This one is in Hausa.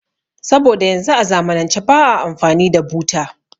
Saboda yanzu a zamanance ba a amfani da buta